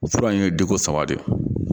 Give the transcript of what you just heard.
Fura in ye degun saba de ye